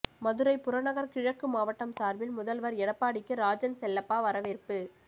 மதுரை புறநகர் கிழக்கு மாவட்டம் சார்பில் முதல்வர் எடப்பாடிக்கு ராஜன்செல்லப்பா வரவேற்பு